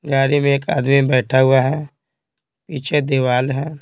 गाड़ी में एक आदमी बैठा हुआ है पीछे दीवाल है।